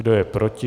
Kdo je proti?